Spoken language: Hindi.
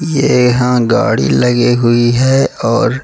येहां गाड़ी लगे हुई है और --